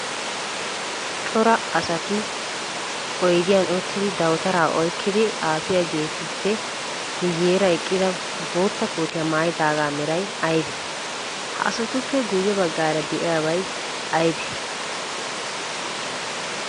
Cora asati oyidiyan uttidi dawutaraa oyikkidi xaafiyaageetu ppe guyyeera eqqida bootta kootiyaa mayyidaagaa meray ayibee? Ha asatuppe guyye baggaara diyabay ayibee?